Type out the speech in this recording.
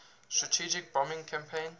strategic bombing campaign